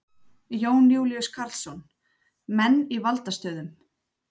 Jón Júlíus Karlsson: Menn í valdastöðum?